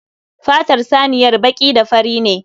Fatar saniyar baƙi da fari ne.